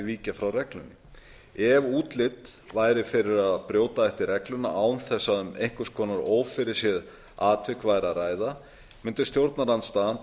víkja frá reglunni ef útlit væri fyrir að brjóta ætti regluna án þess að um einhvers konar ófyrirséð atvik væri að ræða mundi stjórnarandstaðan